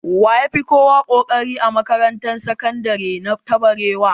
Wa ya fi kowa ƙoƙari a makarantar sakandire ta barewa?